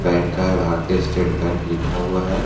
इनका भारतीय state bank लिखा हुआ है।